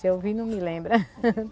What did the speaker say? Se eu vi não me lembra.